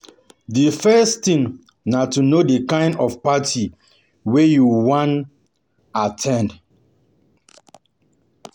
Di first thing na to know di kind of party wey you wan wey you wan at ten d